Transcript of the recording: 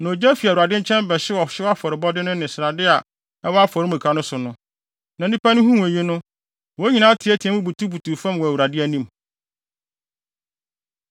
Na ogya fi Awurade nkyɛn bɛhyew ɔhyew afɔrebɔde no ne srade a ɛwɔ afɔremuka no so no. Na nnipa no huu eyi no, wɔn nyinaa teɛteɛɛ mu butubutuw fam wɔ Awurade anim.